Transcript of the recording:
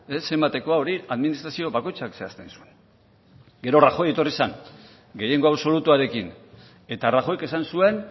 zenbatekoa hori administrazio bakoitzak zehazten zuen gero rajoy etorri zen gehiengo absolutuarekin eta rajoyk esan zuen